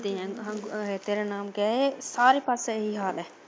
ਇਦਾ ਹੀ ਆ, ਤੇਰਾ ਨਾਮ ਕਿਆ ਹੈ ਸਾਰੇ ਪਾਸੇ ਇਹੀ ਹਾਲ ਹੈ।